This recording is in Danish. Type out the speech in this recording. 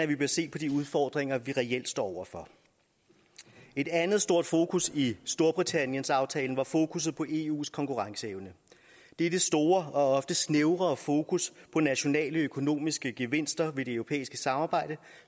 vi bør se på de udfordringer vi reelt står over for et andet stort fokus i storbritanniens aftale var fokusset på eus konkurrenceevne dette store og ofte snævre fokus på nationale økonomiske gevinster ved det europæiske samarbejde